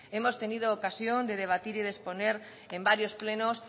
hemos tenido ocasión de debatir y de exponer en varios plenos